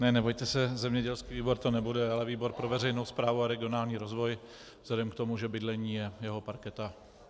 Ne, nebojte se, zemědělský výbor to nebude, ale výbor pro veřejnou správu a regionální rozvoj vzhledem k tomu, že bydlení je jeho parketa.